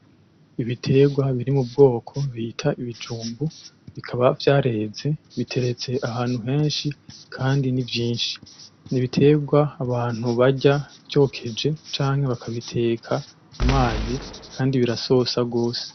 Ibiterwa biri m'ubwoko bita ibijumbu bikaba vyareze, biteretse ahantu henshi kandi ni vyinshi n'ibiterwa abantu barya vyokeje canke bakabiteka m'umazi kandi birasosa gose.